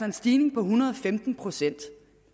en stigning på en hundrede og femten procent